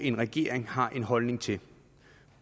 en regering har en holdning til